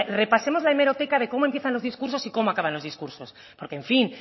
repasemos la hemeroteca de cómo empiezan los discursos y cómo acaban los discursos porque en fin